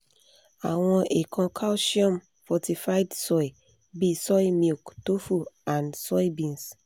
àwọn ikan calcium-fortified soy bi soy milk tofu and soybeans